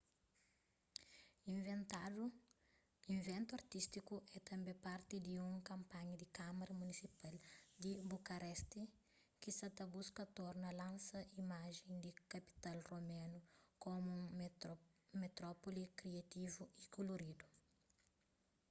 iventu artístiku é tanbê parti di un kanpanha di kâmara munisipal di bucareste ki sa buska torna lansa imajen di kapital romenu komu un metrópoli kriativu y koloridu